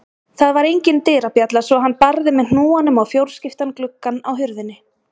Það var engin dyrabjalla svo hann barði með hnúanum á fjórskiptan gluggann á hurðinni.